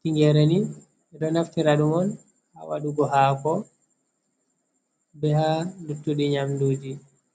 tingere ni ɓe ɗo naftiraɗumon ha waɗugo hako be ha luttudi nyamduji.